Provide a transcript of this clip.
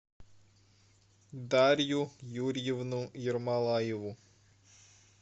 дарью юрьевну ермолаеву